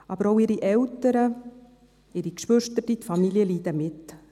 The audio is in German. Aber auch ihre Eltern, die Geschwister, die Familien leiden mit.